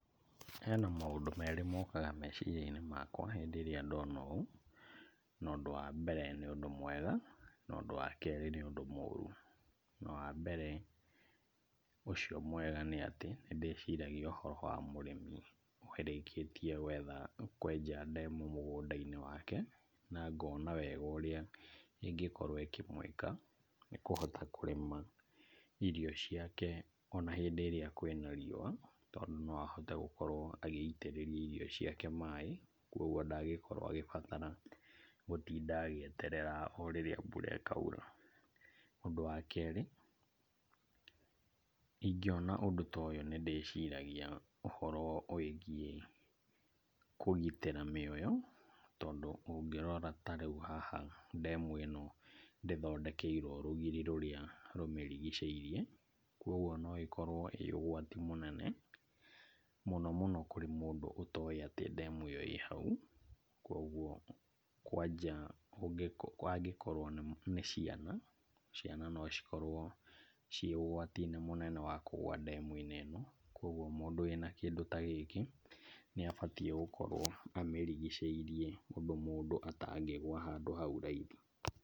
Hena maũndũ merĩ mokaga meciria-inĩ makwa rĩrĩa ndona ũũ , na ũndũ wa mbere nĩ ũndũ mwega , na ũndũ wa kerĩ nĩ ũndũ mũrũ, wa mbere ũcio mwega nĩ atĩ, nĩndĩciragia ũhoro wa mũrĩmi ũrĩkĩtie gwetha, kwenja ndemu mũgũnda-inĩ wake, na ngona wega ũrĩa ĩngĩkorwo ĩkĩmwĩka, nĩkũhota kũrĩma irio ciake ona hĩndĩ ĩrĩa kwĩna riũa, tondũ no ahote gũkorwo agĩitĩrĩria irio ciake maaĩ , kũgwo ndangĩkorwo agĩbatara gũtinda agĩeterera o rĩrĩa mbura ĩkaura, ũndũ wa kerĩ, ingĩona ũndũ ta ũyũ nĩ ndĩciragia ũhoro wĩgiĩ kũgitĩra mĩoyo , tondũ ta rĩu ũngĩrora haha ndemu ĩno ndĩthondekeirwo rũgiri rũrĩa rũmĩrigĩcĩirie , kũgwo no ĩkorwo ĩ ũgwati mũnene, mũno mũno kũrĩ mũndũ ũrĩa ũtoĩ ndemu ĩyo ĩ hau, kũgwo kwanja ũngĩkorwo angĩkorwo nĩ ciana. ciana nocikorwo ciĩ ũgwati-inĩ mũnene wa kũgua ndemu-inĩ ĩno, kũgwo mũndũ wĩna kĩndũ ta gĩkĩ nĩ abatiĩ gũkorwo amĩrigicĩirie ũndũ mũndũ atangĩgua handũ hau raithi.